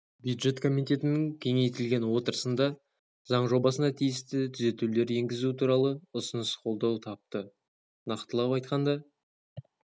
бюджет комитетінің кеңейтілген отырысында заң жобасына тиісті түзетулер енгізу туралы ұсыныс қолдау тапты нақтылап айтқанда